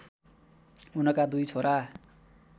उनका दुई छोरा